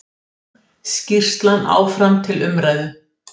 Skýrslan áfram til umræðu